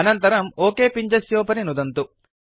अनन्तरं ओक पिञ्जस्योपरि नुदन्तु